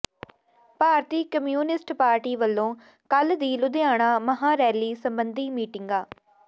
ਭਾਰਤੀ communist party ਵਲੋਂ ਕੱਲ੍ਹ ਦੀ ਲੁਧਿਆਣਾ ਮਹਾਂ ਰੈਲੀ ਸਬੰਧੀ ਮੀਟਿੰਗਾਂ